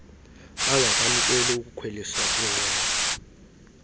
bangakwamkeli ukukhweliswa kwiinqwelo